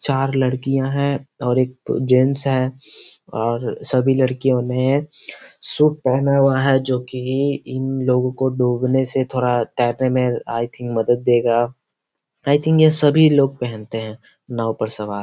चार लड़कियाँ हैं और एक जेंट्स है और सभी लड़कियों ने शूट पेहना हुआ है जो की इन लोगो को डूबने से थोड़ा तैरने में आई थिंग मदद देगा आई थिंग यह सभी लोग पेहनते है नाव पर सवार --